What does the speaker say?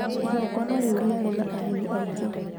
igongona rĩu rĩarĩ na ageni aingĩ